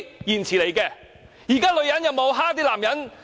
現在的女人有否欺負男人？